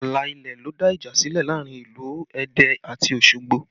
Ààlà ilẹ̀ ló dá ìjà sílẹ̀ láàrin ìlú Ẹdẹ àti Osogbo